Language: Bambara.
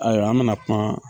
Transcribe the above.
Ayiwa an bina kuma.